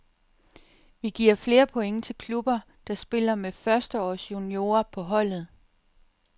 Vi giver flere point til klubber, der spiller med førsteårsjuniorer på holdet.